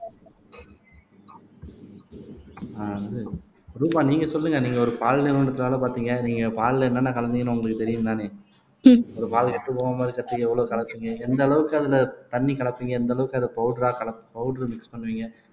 அஹ் வந்து ரூபா நீங்க சொல்லுங்க நீங்க ஒரு பால் நிறுவனத்தினால பார்த்தீங்க நீங்க பால்ல என்னென்ன கலந்தீங்கன்னு உங்களுக்கு தெரியும்தானே ஒரு பால்ல கெட்டு போகாம இருக்கறதுக்கு எவ்வளவு கலக்குறிங்க எந்த அளவுக்கு அதுல தண்ணி கலப்பிங்க எந்த அளவுக்கு அதை பவுடரா கலப் பவுடர் மிக்ஸ் பண்ணுவீங்க